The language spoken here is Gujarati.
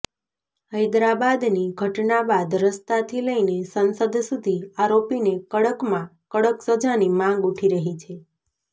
હૈદરાબાદની ઘટના બાદ રસ્તાથી લઈને સંસદ સુધી આરોપીને કડકમાં કડક સજાની માંગ ઉઠી રહી છે